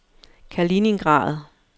Kaliningrad